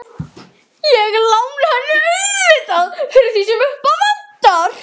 Ég lána henni auðvitað fyrir því sem upp á vantar.